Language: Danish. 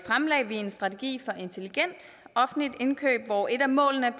fremlagde vi en strategi for intelligent offentligt indkøb hvor et af målene